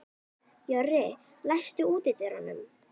Jörri, læstu útidyrunum.